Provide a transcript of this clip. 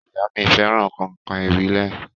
Ìyá mí fẹràn kàìnkàìn ìbílẹ̀.